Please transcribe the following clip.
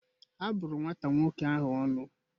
A bụrụ nwata nwoke ahụ ọnụ